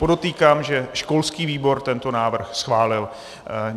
Podotýkám, že školský výbor tento návrh schválil.